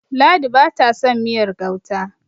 ladi ba ta son miyar gauta